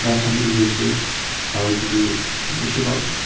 grad khan bi dikhiase aro edu toh bishi bhalk.